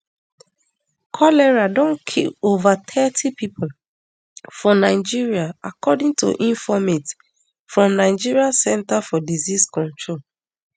cholera don kill kill ova thirty pipo for nigeria according to informate from nigeria centre for disease control